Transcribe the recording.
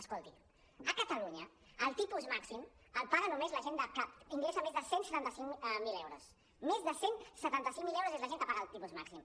escolti a catalunya el tipus màxim el paga només la gent que ingressa més de cent i setanta cinc mil euros més de cent i setanta cinc mil euros és la gent que paga el tipus màxim